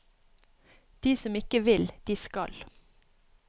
De som ikke vil, de skal.